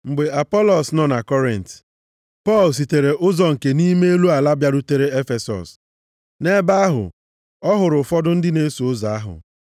Mgbe Apọlọs nọ na Kọrint, Pọl sitere ụzọ nke nʼime elu ala bịarute Efesọs. Nʼebe ahụ, ọ hụrụ ụfọdụ ndị na-eso ụzọ ahụ,